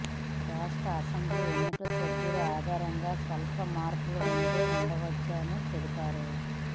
రాష్ట్ర అసెంబ్లీ ఎన్నికల షెడ్యూల్ ఆధారంగా స్వల్ప మార్పులు ఉంటే ఉండవచ్చని తెలిపారు